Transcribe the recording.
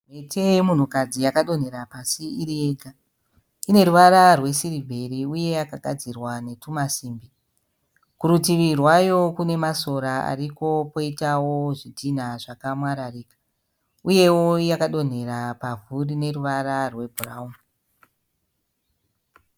Mhete yemumhukadzi yakadonhera pasi iri yega. Ine ruvara rwesirivheri uye yakagadzirwa netwumasimbi. Kurutivi rwayo kune masora ariko uye kwoitawo zvidhinha zvakamwararika. Uyewo yakadonhera pavhu rine ruvara rwebhurauni.